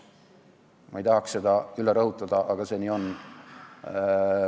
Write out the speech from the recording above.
Ma ei tahaks seda üle rõhutada, aga nii see on.